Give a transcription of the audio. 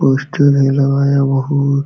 poster है लगाया बोहोत --